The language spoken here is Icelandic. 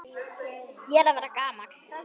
Ég er að verða gamall.